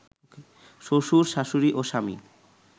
শ্বশুর, শাশুড়ি ও স্বামী